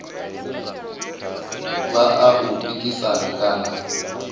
vha a u pikisana kana